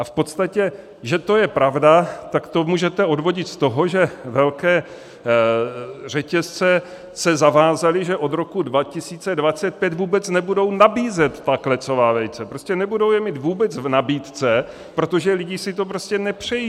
A v podstatě že to je pravda, tak to můžete odvodit z toho, že velké řetězce se zavázaly, že od roku 2025 vůbec nebudou nabízet ta klecová vejce, prostě nebudou je mít vůbec v nabídce, protože lidi si to prostě nepřejí.